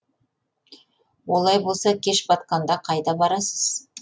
олай болса кеш батқанда қайда барасыз